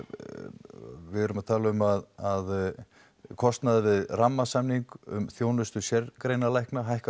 við erum að tala um að kostnaður við rammasamning um þjónustu sérgreinalækna hækkar